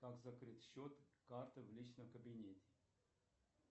как закрыть счет карты в личном кабинете